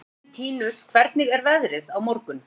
Elentínus, hvernig er veðrið á morgun?